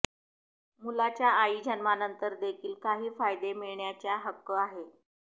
मुलाच्या आई जन्मानंतर देखील काही फायदे मिळण्याचा हक्क आहे